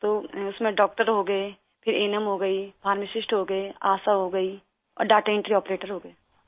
تو اس میں ڈاکٹر ہو گئے، پھر اے این ایم ہو گئی، فارماسسٹ ہو گئے، آشا ہو گئی، اور ڈیٹا انٹری آپریٹر ہو گئے